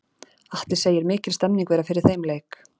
Atli segir mikil stemning vera fyrir þeim leik.